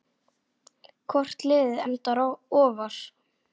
Hvort liðið endar ofar?